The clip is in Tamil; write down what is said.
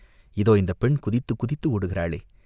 இதோ இந்தப் பெண் குதித்துக் குதித்து ஓடுகிறாளே?